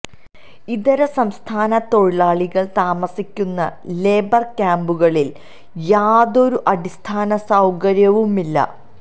ഇതര സംസ്ഥാന തൊഴിലാളികള് താമസിക്കുന്ന ലേബര് ക്യാമ്പുകളില് യാതൊരു അടിസ്ഥാന സൌകര്യവുമില്ല